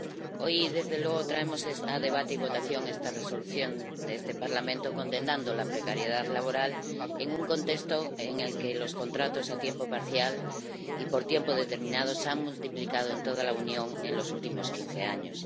Señor presidente, hoy, desde luego, traemos a debate y votación esta propuesta de Resolución de este Parlamento condenando la precariedad laboral en un contexto en el que los contratos a tiempo parcial y por tiempo determinado se han multiplicado en toda la Unión en los últimos quince años.